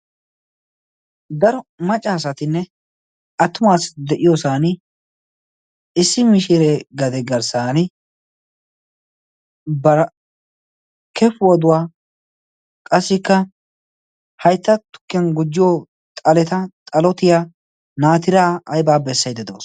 Daro maccaasatinne attumaassi de'iyoosan issi mishiiree gade garssan barkefuw oduwaa qassikka haytta tukkiyan gujjiyo xaleta xalotiya naatiraa aybaa bessaidde doos.